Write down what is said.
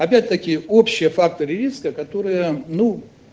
опять такие общие факторы риска которые ну